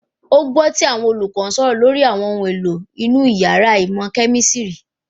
Ó gbọ́ tí àwọn olùkọ́ ń sọ̀rọ̀ lórí àwọn ohun èlò inú yàrá ìmọ̀ kẹ̀mísírì